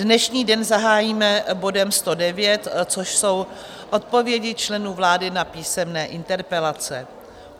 Dnešní den zahájíme bodem 109, což jsou odpovědi členů vlády na písemné interpelace.